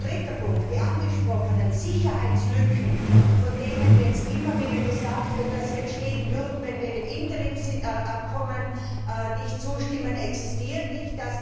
Drittens Die angesprochenen Sicherheitslücken, von denen jetzt immer wieder gesagt wird, dass sie entstehen würden, wenn wir dem Interimsabkommen nicht zustimmen, existieren nicht.